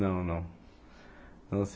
Não, não. Não